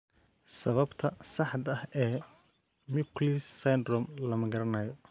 Sababta saxda ah ee Mikulicz syndrome lama garanayo.